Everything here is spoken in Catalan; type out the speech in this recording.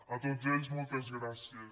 a tots ells moltes gràcies